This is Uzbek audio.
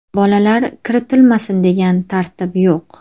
Bolalar kiritilmasin, degan tartib yo‘q.